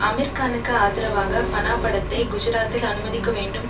அமீர்கானுக்கு ஆதரவாக ஃபனா படத்தை குஜராத்தில் அனுமதிக்க வேண்டும்